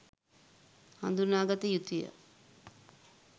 හඳුනාගත යුතු ය.